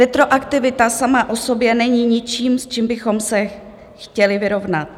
Retroaktivita sama o sobě není ničím, s čím bychom se chtěli vyrovnat.